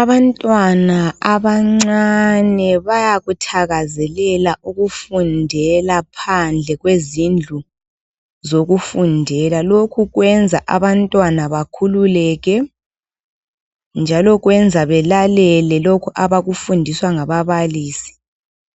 Abantwana abancane bayakuthakazelela ukufundela phandle kwezindlu zokufundela. Lokhu kwenza abantwana bakhululeke. Njalo kwenza belalele lokho abakufundiswa ngababalisi